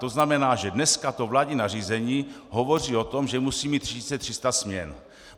To znamená, že dneska to vládní nařízení hovoří o tom, že musí mít 3 300 směn.